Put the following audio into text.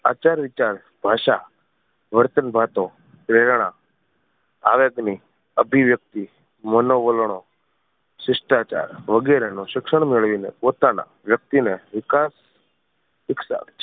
આચાર વિચાર ભાષા વર્તન વાતો પ્રેરણા આવેગ ની અભિવ્યક્તિ મનોવલણો શિષ્ટાચાર વગેરેનું શિક્ષણ મેળવી ને પોતાના વ્યક્તિ ને વિકાસ શિખવાડે છે